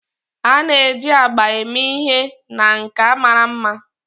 a na-eji agba eme ihe na nka mara mma